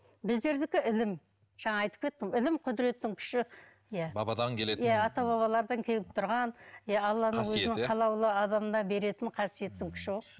біздердікі ілім жаңа айтып кеттім ғой ілім құдіреттің күші иә бабадан келетін иә ата бабалардан келіп тұрған иә алланың өзінің қалаулы адамына беретін қасиеттің күші ғой